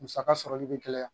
Musaka sɔrɔli be gɛlɛya.